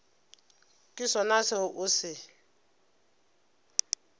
ke sona seo o se